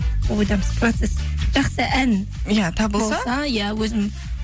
ойдамыз процесс жақсы ән иә табылса иә өзім